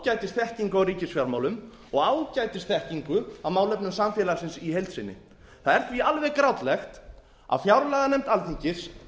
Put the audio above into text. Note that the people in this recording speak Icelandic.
hafa ágætisþekkingu á ríkisfjármálum og ágætisþekkingu á málefnum samfélagsins í heild sinni það er því alveg grátlegt að fjárlaganefnd alþingis